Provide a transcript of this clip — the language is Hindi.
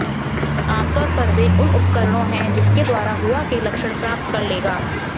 आमतौर पर वे उन उपकरणों है जिसके द्वारा हुआ के लक्षण प्राप्त कर लेगा